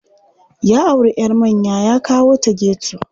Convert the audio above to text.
Ya auri 'yar manya ya kawo ta geto.